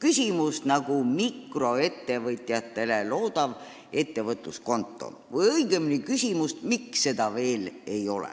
küsimust nagu mikroettevõtjatele loodav ettevõtluskonto või õigemini küsimust, miks seda veel ei ole.